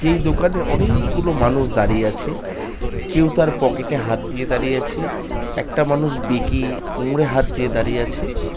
যেই দোকানে অনেক- কগুলো মানুষ দাঁড়িয়ে আছে কেউ তার পকেটে হাত দিয়ে দাঁড়িয়ে আছে একটা মানুষ বেঁকে কোমরে হাত দিয়ে দাঁড়িয়ে আছে